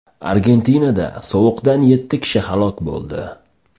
Argentinada sovuqdan yetti kishi halok bo‘ldi.